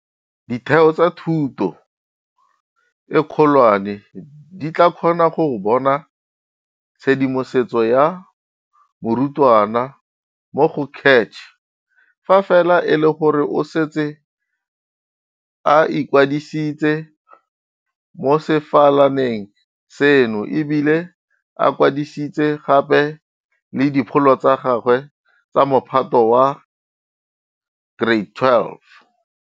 Ditheo tsa thuto e kgolwane di tla kgona go bona tshedimosetso ya morutwana mo go CACH fa fela e le gore o setse a ikwadisitse mo sefalaneng seno e bile a kwadisitse gape le dipholo tsa gagwe tsa Mophato wa bo 12.